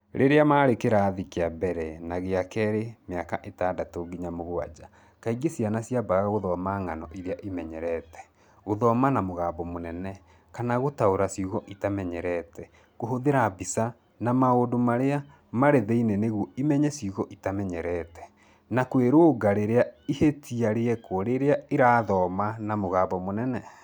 Rĩrĩa marĩ kĩrathi kĩa mbere na gĩa kerĩ mĩaka itandatũ nginya mũgwaja, kaingĩ ciana ciambaga gũthoma ng'ano iria imenyerete, 'gũthoma na mũgambo mũnene' kana gũtaũra ciugo itamenyerete, kũhũthĩra mbica na maũndũ marĩa marĩ thĩinĩ nĩguo imenye ciugo itamenyerete, na kwĩrũnga rĩrĩa ihĩtia rĩekwo rĩrĩa irathoma na mũgambo mũnene.